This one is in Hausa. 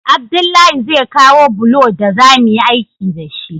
Abdullahi zai kawo bulo daza muyi aiki dashi